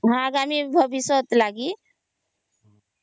ଆଗାମୀ ର ଭବିଷ୍ୟତ ଲାଗି